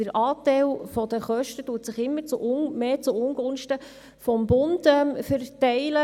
Der Anteil der Kosten verschiebt sich immer mehr zu Ungunsten des Bundes.